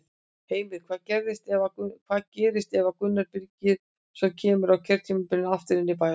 Heimir: Hvað gerist ef að Gunnar Birgisson kemur á kjörtímabilinu aftur inn í bæjarstjórn?